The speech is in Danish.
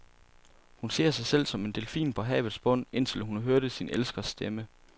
Hun ser sig selv som en delfin på havets bund, indtil hun hørte sin elskers stemme.